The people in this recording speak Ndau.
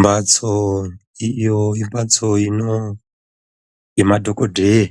Mhatso iyo imhatso ino yema dhogodheya